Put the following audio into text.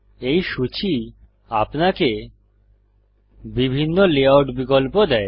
এই সূচী আপনাকে বিভিন্ন লেআউট বিকল্প দেয়